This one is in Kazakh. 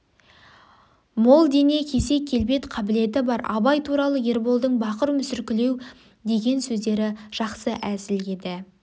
мол дене кесек келбет қабілеті бар абай туралы ерболдың бақыр мүсіркеу деген сөздері жақсы әзіл еді